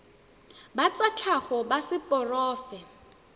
ba tsa tlhago ba seporofe